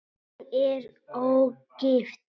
Hún er ógift.